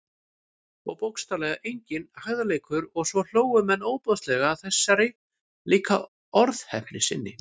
Og bókstaflega enginn hægðarleikur- og svo hlógu menn ofboðslega að þessari líka orðheppni sinni.